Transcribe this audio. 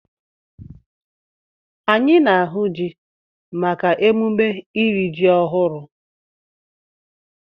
Anyị na-ahụ ji maka emume iri ji ọhụrụ.